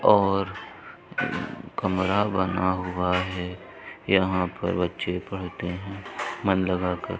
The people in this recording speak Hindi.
और कमरा बना हुआ है यहाँ पर बच्चे पढ़ते हैं मन लगा कर |